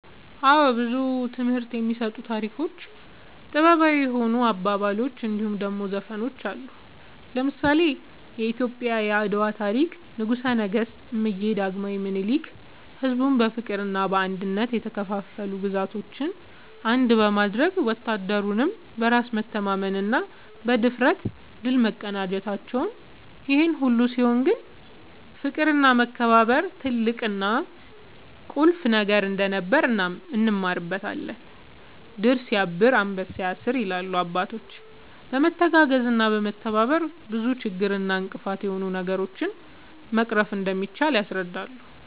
አወ ብዙ ትምህርት የሚሰጡ ታሪኮች ጥበባዊ የሆኑ አባባሎች እንድሁም ደሞ ዘፈኖች አሉ። ለምሳሌ :-የኢትዮጵያ የአድዋ ታሪክ ንጉሰ ነገስት እምዬ ዳግማዊ ምኒልክ ሕዝቡን በፍቅርና በአንድነት የተከፋፈሉ ግዛቶችን አንድ በማድረግ ወታደሩም በራስ መተማመንና ብድፍረት ድል መቀዳጀታቸውን ይሄ ሁሉ ሲሆን ግን ፍቅርና መከባበር ትልቅና ቁልፍ ነገር እንደነበር እንማርበታለን # "ድር ስያብር አንበሳ ያስር" ይላሉ አባቶች በመተጋገዝና በመተባበር ብዙ ችግር እና እንቅፋት የሆኑ ነገሮችን መቅረፍ እንደሚቻል ያስረዳሉ